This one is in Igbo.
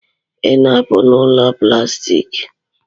Ị na-apụ n'ụlọ plastik?